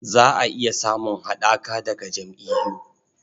Za a iya samun haɗaka daga jam'iyyu..